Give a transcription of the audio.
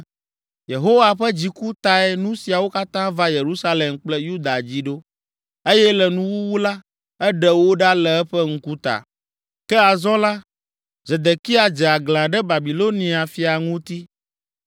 Yehowa ƒe dziku tae nu siawo katã va Yerusalem kple Yuda dzi ɖo. Eye le nuwuwu la, eɖe wo ɖa le eƒe ŋkuta. Ke azɔ la, Zedekia dze aglã ɖe Babilonia fia ŋuti.